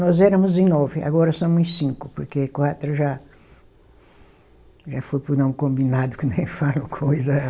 Nós éramos em nove, agora somos em cinco, porque quatro já, já foi para o não combinado que nem falam coisa.